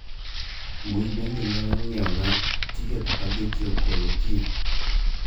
Mbui bende inyalo ng'iewona tiket ma geche okolo kiny